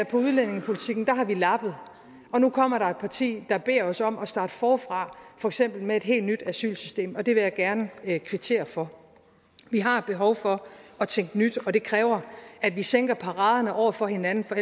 på udlændingepolitikken har vi lappet og nu kommer der et parti der beder os om at starte forfra for eksempel med et helt nyt asylsystem og det vil jeg gerne kvittere for vi har behov for at tænke nyt og det kræver at vi sænker paraderne over for hinanden for